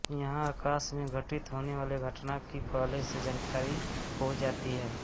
यहाँ आकाश में घटित होने बाले घटना की पहले से जानकारी हो जाती है